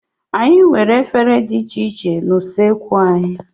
Anyị nwere ụdị efere dị iche iche na usoekwu anyị.